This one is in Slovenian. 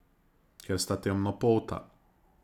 Ker sta temnopolta.